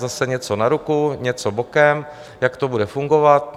Zase něco na ruku, něco bokem, jak to bude fungovat?